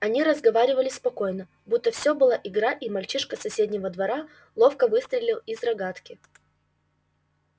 они разговаривали спокойно будто всё была игра и мальчишка с соседнего двора ловко выстрелил из рогатки